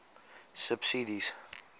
subsidies